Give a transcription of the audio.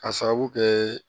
Ka sababu kɛ